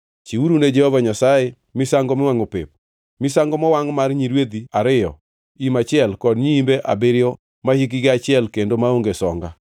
Chiwuru ne Jehova Nyasaye misango miwangʼo pep, misango mowangʼ mar nyirwedhi ariyo, im achiel kod nyiimbe abiriyo mahikgi achiel kendo maonge songa.